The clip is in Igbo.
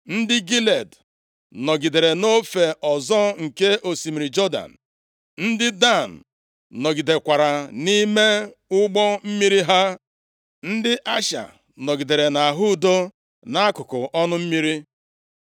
Ndị Gilead nọgidere nʼofe ọzọ nke osimiri Jọdan. Ndị Dan nọgidekwara nʼime ụgbọ mmiri ha. Ndị Asha nọgidere nʼahụ udo nʼakụkụ ọnụ mmiri.